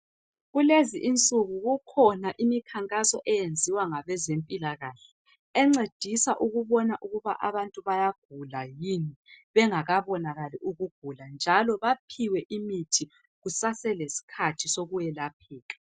Kulezi insuku kukhona imikhankaso eyenziwa ngabezempilakahle encedisa ukubona ukuthi abantu bayagula yini, bengakabonakali ukugula. Njalo baphiwe imithi kusaselesikhathi sokwelapheka.